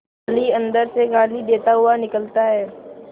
माली अंदर से गाली देता हुआ निकलता है